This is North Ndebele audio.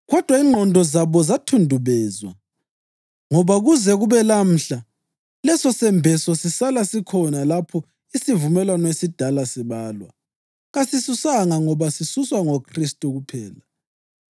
Kodwa ingqondo zabo zathundubezwa, ngoba kuze kube lamhla lesosembeso sisala sikhona lapho isivumelwano esidala sibalwa. Kasisuswanga ngoba sisuswa ngoKhristu kuphela.